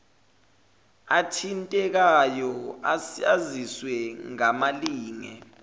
athintekayo aziswe ngamalinge